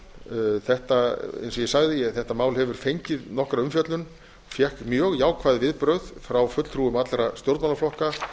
eins og ég sagði þetta mál hefur fengið nokkra umfjöllun fékk mjög jákvæð viðbrögð frá fulltrúum allra stjórnmálaflokka